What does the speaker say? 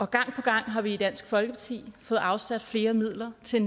gang på gang har vi i dansk folkeparti fået afsat flere midler til